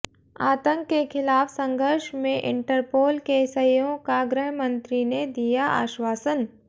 आतंक के खिलाफ संघर्ष में इंटरपोल के सहयोग का गृहमंत्री ने दिया अश्वासन